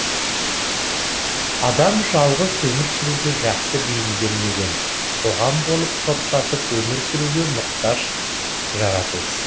адам жалғыз өмір сүруге жақсы бейімделмеген қоғам болып топтасып өмір сүруге мұқтаж жаратылыс